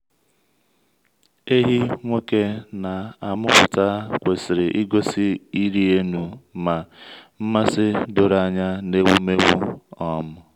ehi nwoke na-amụpụta kwesịrị igosi ịrị elu na nmasị doro anya n’ewumewụ. um